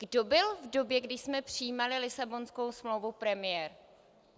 Kdo byl v době, kdy jsme přijímali Lisabonskou smlouvu premiér?